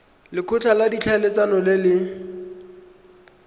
lekgotla la ditlhaeletsano le le